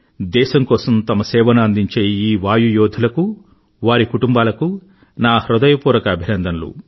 దేశం కోసం తమ సేవను అందించే ఈ వాయు యోధులకు వారి కుటుంబాలకు నా హృదయపూర్వక అభినందనలు